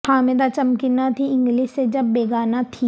حامدہ چمکی نہ تھی انگلش سے جب بیگانہ تھی